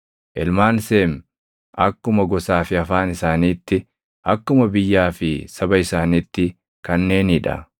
Ilmaan Seemi akkuma gosaa fi afaan isaaniitti, akkuma biyyaa fi saba isaaniitti kanneenii dha.